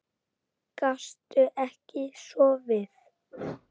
Gastu ekki sofið?